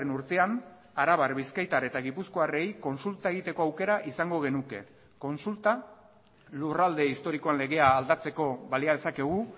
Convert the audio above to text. urtean arabar bizkaitar eta gipuzkoarrei kontsulta egiteko aukera izango genuke kontsulta lurralde historiko legea aldatzeko balia dezakegu